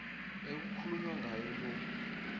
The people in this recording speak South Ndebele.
ekukhulunywa ngaye lo